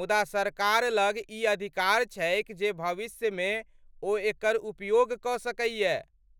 मुदा सरकार लग ई अधिकार छैक जे भविष्यमे ओ एकर उपयोग कऽ सकैए।